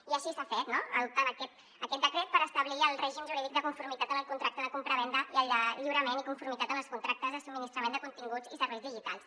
i així s’ha fet no adoptar aquest decret per establir el règim jurídic de conformitat en el contracte de compravenda i el lliurament i conformitat en els contractes de subministrament de continguts i serveis digitals